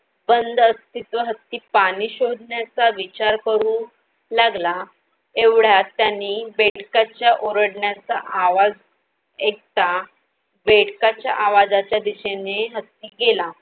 बंद अस्तित्व हत्ती पाणी शोधण्याचा विचार करू लागला. एवढय़ात त्यानी बेडकांच्या ओरडण्याचा आवाज एकता बेडकाच्या आवाजाच्या दिशेने हत्ती गेला